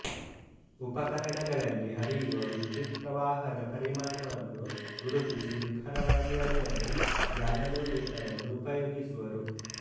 ಉಪಕರಣಗಳಲ್ಲಿ ಹರಿಯುವ ವಿದ್ಯುತ್ಪ್ರವಾಹದ ಪರಿಮಾಣವನ್ನು ಗುರುತಿಸಿ ನಿಖರವಾಗಿ ಅಳೆಯಲು ಗ್ಯಾಲನೋಮೀಟರನ್ನು ಉಪಯೋಗಿಸುವರು